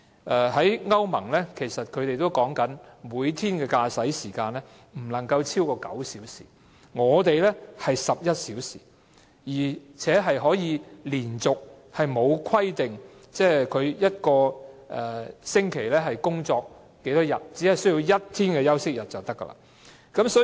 根據歐盟的規定，司機每天的駕駛時間不超過9小時，香港則是11小時，而且沒有規定每周可以連續工作多少天，只需要有1天休息日便可。